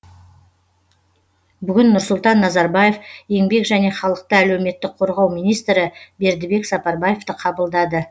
бүгін нұрсұлтан назарбаев еңбек және халықты әлеуметтік қорғау министрі бердібек сапарбаевты қабылдады